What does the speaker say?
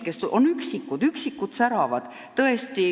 On üksikud, kes säravad.